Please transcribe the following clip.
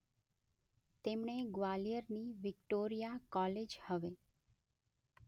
તેમણે ગ્વાલિયરની Victoria college હવે